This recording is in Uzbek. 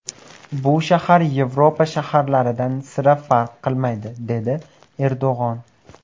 Bu shahar Yevropa shaharlaridan sira farq qilmaydi”, dedi Erdo‘g‘on.